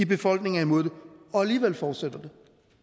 befolkningen er imod det og alligevel fortsætter